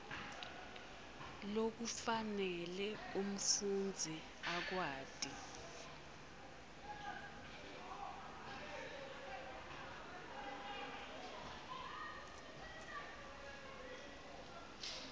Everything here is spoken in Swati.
lokufanele umfundzi akwati